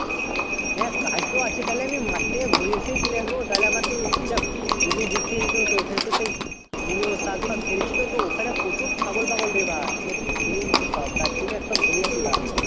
হ্যাঁ কাজ তো আছে তাহলে আমি মাঠ থেকে ঘুরে চলে আসবো তাহলে আমার জমি দেখতে যেতে হতো মুলো সাগ তাগ ফেলেছি তো ওখানে খুব ছাগল পাগল রে ভাই খেয়েনিচ্ছে সব তার জন্য ঘুরে আসি এক বার